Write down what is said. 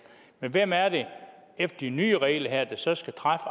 men hvem er det efter de nye regler her der så skal træffe